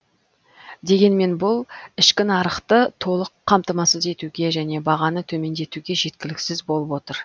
дегенмен бұл ішкі нарықты толық қамтамасыз етуге және бағаны төмендетуге жеткіліксіз болып отыр